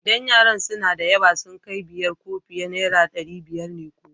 Idan yaran suna da yawa, sun kai biyar ko fiye, naira ɗari biyar ne kowa.